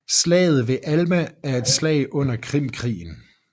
Slaget ved Alma er et slag under Krimkrigen